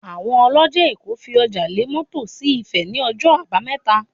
Àwọn ọlọ́jà èkó fi ọjà lé mọ́tò sí Ifẹ̀ ní ọjọ́ àbámẹ́ta